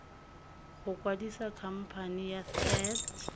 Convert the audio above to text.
go kwadisa khamphane ya set